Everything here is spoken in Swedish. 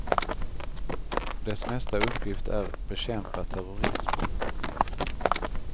Dess nästa uppgift är bekämpa terrorism.